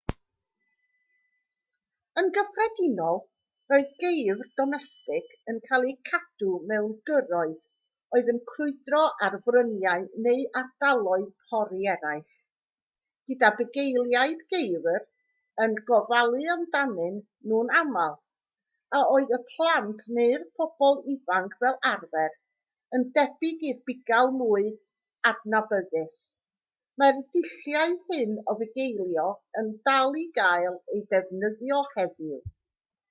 yn gyffredinol roedd geifr domestig yn cael eu cadw mewn gyrroedd oedd yn crwydro ar fryniau neu ardaloedd pori eraill gyda bugeiliaid geifr yn gofalu amdanyn nhw'n aml a oedd yn blant neu'n bobl ifanc fel arfer yn debyg i'r bugail mwy adnabyddus mae'r dulliau hyn o fugeilio yn dal i gael eu defnyddio heddiw